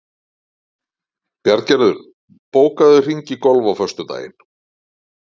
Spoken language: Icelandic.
Bjarngerður, bókaðu hring í golf á föstudaginn.